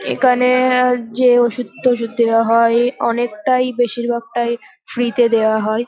এখানে যে ওষুধ টষুধ দেওয়া হয় এই অনেকটাই বেশিরভাগটাই ফ্রী -তে দেওয়া হয়।